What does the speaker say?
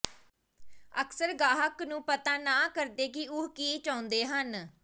ਅਕਸਰ ਗਾਹਕ ਨੂੰ ਪਤਾ ਨਾ ਕਰਦੇ ਕਿ ਉਹ ਕੀ ਚਾਹੁੰਦੇ ਹਨ